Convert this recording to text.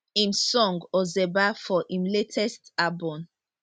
im song ozeba for im latest album